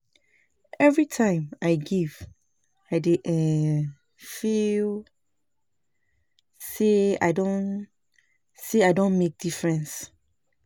Every time I give, I dey um feel say I don say I don make difference.